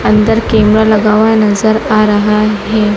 अंदर कैमरा लगा हुआ नजर आ रहा है।